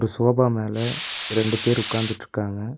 Sofa மேல ரெண்டு பேர் உக்காந்திட்ருக்காங்க.